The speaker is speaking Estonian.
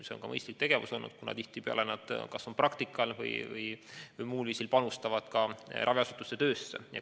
See on aga mõistlik olnud, kuna tihtipeale on nad raviasutuses kas praktikal või panustavad muul viisil selle töösse.